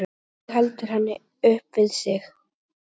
Hann rígheldur henni upp við sig.